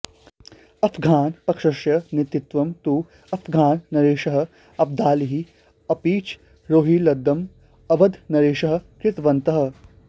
अफ़्घानपक्षस्य नेतृत्वं तु अफ़्घाननरेशः अब्दालिः अपिच रोहिल्लदलम् अवधनरेशः कृतवन्तः